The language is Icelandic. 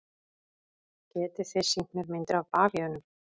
Getið þið sýnt mér myndir af bavíönum?